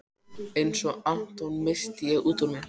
Einsog Anton, missi ég útúr mér.